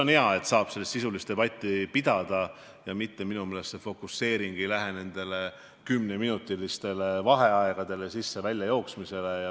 On hea, et saab sisulist debatti pidada ja et fokuseering ei ole suunatud kümneminutilistele vaheagedele, sisse-välja jooksmisele.